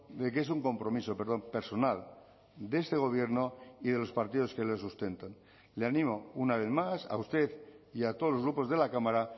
de que es un compromiso personal de este gobierno y de los partidos que le sustentan le animo una vez más a usted y a todos los grupos de la cámara